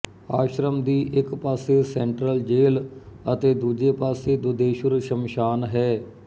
ਆਸ਼ਰਮ ਦੀ ਇੱਕ ਪਾਸੇ ਸੈਂਟਰਲ ਜੇਲ੍ਹ ਅਤੇ ਦੂਜੇ ਪਾਸੇ ਦੁਧੇਸ਼ੁਰ ਸ਼ਮਸ਼ਾਨ ਹੈ